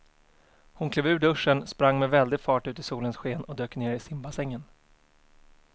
Hon klev ur duschen, sprang med väldig fart ut i solens sken och dök ner i simbassängen.